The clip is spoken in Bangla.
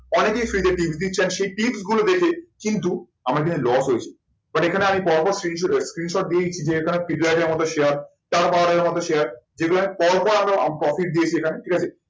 অনেকেই free তে tips দিচ্ছে and সেই tips গুলো দেখে কিন্তু আমার এখানে loss হয়েছে but এখানে আমি পরপর screenshot দিয়েই share share যেগুলো আমি পরপর profit দিয়েছি এখানে।